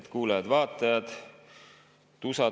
Head kuulajad-vaatajad!